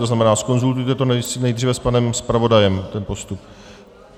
To znamená, zkonzultujte to nejdřív s panem zpravodajem, ten postup.